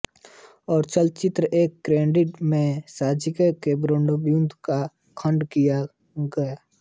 और चलचित्र एफ को ग्रेडिंग में साजिश के बेरंग बूँद का खंडन किया